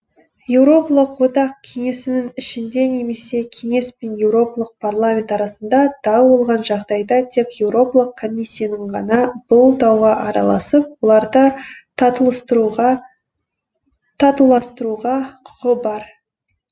еуропалық одақ кеңесінің ішінде немесе кеңес пен еуропалық парламент арасында дау болған жағдайда тек еуропалық комиссияның ғана бұл дауға араласып оларды татуластыруға құқы бар